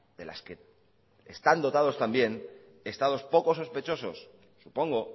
de las que están dotados también estados poco sospechosos supongo